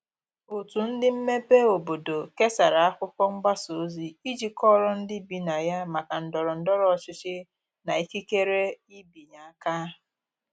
otu ndi mmebe obodo kesara akwụkwo mgbasa ozi iji kọoro ndi ibi na ya maka ndoro ndoro ochichi na ikekere ịbịanye aka